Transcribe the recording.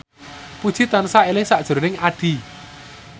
Puji tansah eling sakjroning Addie